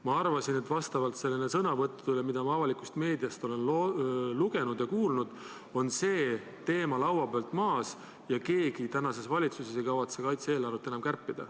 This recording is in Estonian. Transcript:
Ma arvasin, vastavalt sõnavõttudele, mida ma avalikust meediast olen lugenud ja kuulnud, et see teema on laualt maas ja keegi tänases valitsuses ei kavatse kaitse-eelarvet kärpida.